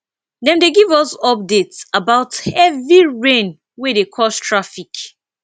dem dey give us updates about heavy rain wey dey cause traffic